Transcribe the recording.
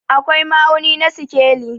akwai ma'auni na sikeli